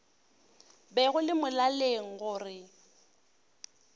be go le molaleng gore